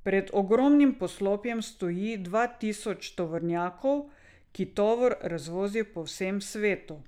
Pred ogromnim poslopjem stoji dva tisoč tovornjakov, ki tovor razvozijo po vsem svetu.